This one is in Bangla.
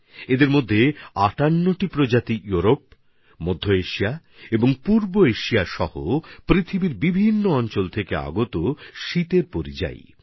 এর মধ্যে ৫৮টি প্রজাতি ইউরোপ মধ্য এশিয়া আর পূর্ব এশিয়া সহ দুনিয়ার বিভিন্ন প্রান্ত থেকে আসা শীতের পরিযায়ী পাখি